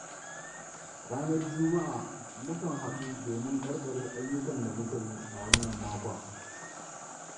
Ranar juma'a mu kan haɗu domin ƙarƙare ayyukan da muka yi a wannan makon.